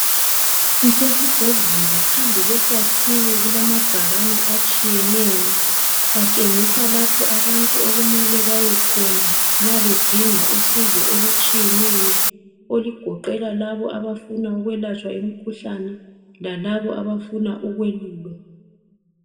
Kusesibhedlela. Phambi kwesakhiwo kulamabhakani atshiyeneyo. Atshengisa lapho abantu okumele bayekhona. Nxa bedinga usizo olutshiyeneyo. Olugoqela labo abafuna ukwelatshwa imikhuhlane lalabo abafuna ukwelulwa,